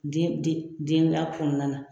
Den den den bila kɔnɔna na.